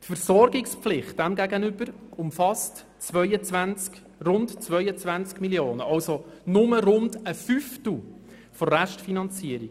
Demgegenüber umfasst die Versorgungspflicht rund 22 Mio. Franken, also nur rund einen Fünftel der Restfinanzierung.